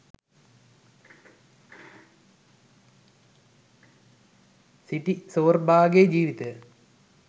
සිටි සෝර්බා ගේ ජීවිතය